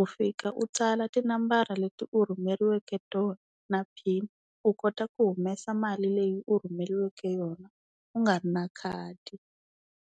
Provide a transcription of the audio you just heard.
u fika u tsala tinambara leti u rhumeriweke tona na pin u kota ku humesa mali leyi u rhumeriweke yona u nga ri na khadi.